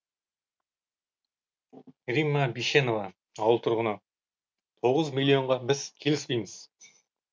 римма бишенова ауыл тұрғыны тоғыз миллионға біз келісіпейміз